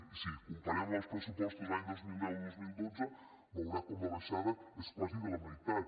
i si ho compararem amb els pressupostos de l’any dos mil deu dos mil dotze veurà com la baixada és quasi a la meitat